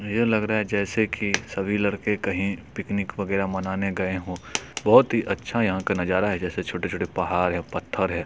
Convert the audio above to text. ये लग रहा है जैसे की सभी लड़के कही पिकनिक वगेरा मनाने गए हो बहोत ही अच्छा यहाँ का नज़ारा है जैसे छोटे -छोटे पहाड़ है पत्थर है।